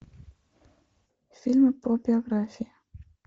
фильмы про биографии